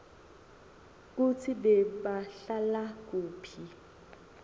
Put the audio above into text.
kutsi bebahlala kuphi